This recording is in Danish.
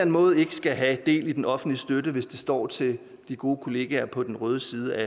måde skal have del i den offentlige støtte hvis det står til de gode kollegaer på den røde side af